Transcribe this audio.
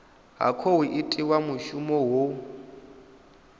ha khou itiwa mushumo ho